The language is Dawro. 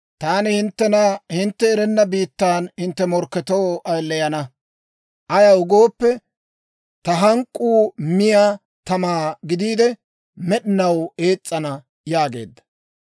Taani hinttena hintte erenna biittan hintte morkketoo ayileyana; ayaw gooppe, ta hank'k'uu miyaa tamaa gidiide, med'inaw ees's'ana» yaageedda.